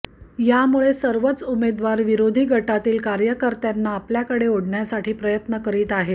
यामुळे सर्वच उमेदवार विरोधी गटातील कार्यकर्त्यांना आपल्याकडे ओढण्यासाठी प्रयत्न करीत आहेत